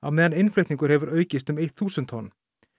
meðan innflutningur hefur aukist um eitt þúsund tonn